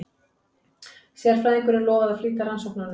Sérfræðingurinn lofaði að flýta rannsóknunum.